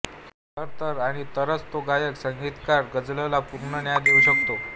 तर तर आणि तरच तो गायक संगीतकार गजलला पूर्ण न्याय देऊ शकतो